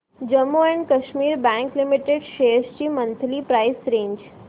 Jammu and Kashmir bank limited shares ची monthly price range